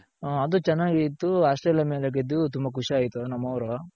ಅದು ಚೆನಾಗೆ ಇತ್ತು ಆ ಆಸ್ಟ್ರೇಲಿಯ ಮೇಲೆ ಗೆದ್ದು ತುಂಬ ಖುಷಿ ಆಯ್ತು ನಮ್ಮವರು